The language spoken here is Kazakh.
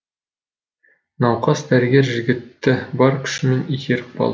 науқас дәрігер жігітті бар күшімен итеріп қалды